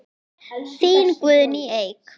Þín Guðný Eik.